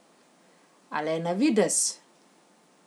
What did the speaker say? A le na videz!